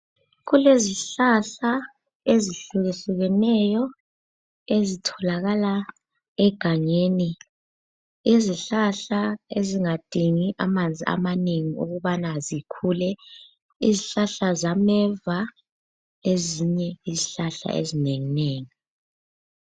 Kulezihlahla ezihlukehlukeneyo ezitholakala egangeni , izihlahla ezingadingi amanzi amanengi ukubana zikhule ,izihlahla zameva lezinye izihlahla ezinengi nengi